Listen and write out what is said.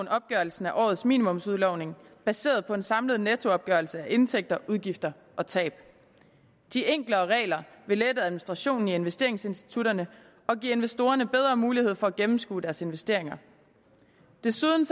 opgørelsen af årets minimumsudlodning baseret på en samlet nettoopgørelse af indtægter udgifter og tab de enklere regler vil lette administrationen i investeringsinstitutterne og give investorerne bedre mulighed for at gennemskue deres investeringer desuden